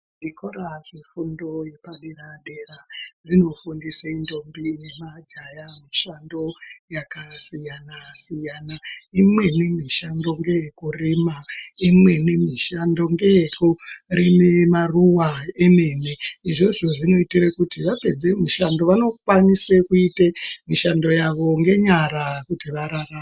Zvikora zvefundo yepadera-dera, zvinofundise ntombi nemajaha mishando yakasiyana-siyana, imweni mishando ngeyekurima, imweni mishando ngeyekurime maruwa emene, izvizvo zvinoyite kuti vapedze mushando vanokwanise kuyite mishando yavo ngenyara kuti vararame.